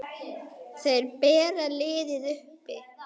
Þeir bera liðið uppi.